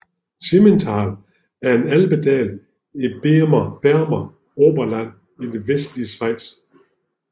Simmental er en alpedal i Berner Oberland i det vestlige Schweiz